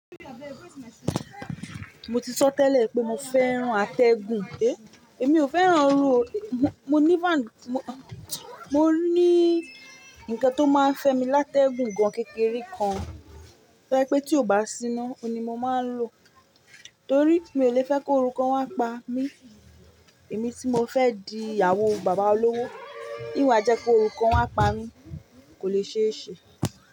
Mo ti sọ tẹ́lẹ̀ pé mo fẹ́ran atẹ́gùn, èmi ò fẹ́ran oru, mo ní fáanù, mo ní ǹkan tó máa ń fẹ́ mi látẹ́ gùn gan-an kékeré kan to je pé tí ó bá síná, òun ni mo máa ń lò torí mi ò lè fẹ́ kó orúkọ kan wa pa mí. Èmi tí mo fẹ́ di ìyàwó bàbá olówó, níwà jẹ́ kóorú kan wa pa mí kò lè ṣe é ṣe.